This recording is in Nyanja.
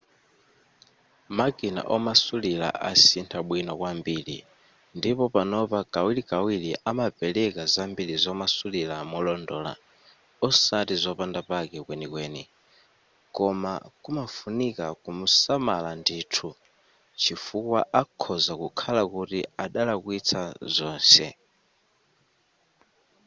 makina omasulira asintha bwino kwambiri ndipo panopa kawirkawiri amapereka zambiri zomasulira molondola osati zopanda pake kwenikweni koma kumafunika kusamala ndithu chifukwa akhoza kukhala kuti adalakwisa zonse